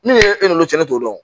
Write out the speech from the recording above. Ni e n'olu cɛ ne t'o dɔn